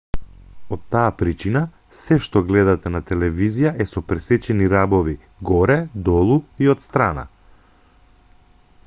од таа причина сѐ што гледате на телевизија е со пресечени рабови горе долу и отстрана